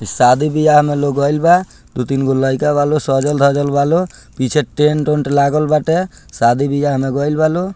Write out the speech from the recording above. शादी बिहा में लोग आइल बा दू तीन गो लइका वालो सजल धजल वालो पीछे टेंट ऊंट लागल बाटे शादी बिहा में गईल बा लो।